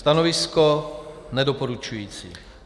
Stanovisko nedoporučující.